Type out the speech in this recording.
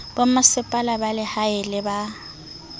bomasepala ba lehae le ba